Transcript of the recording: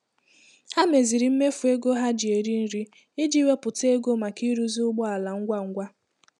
Ha meziri mmefu ego ha ji eri nri iji wepụta ego maka ịrụzi ụgbọ ala ngwa ngwa.